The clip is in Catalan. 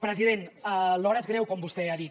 president l’hora és greu com vostè ha dit